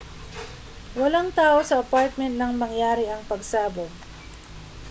walang tao sa apartment nang mangyari ang pagsabog